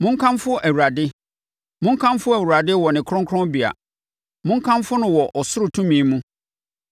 Monkamfo Awurade. Monkamfo Awurade wɔ ne kronkronbea; monkamfo no wɔ ɔsoro tumi mu.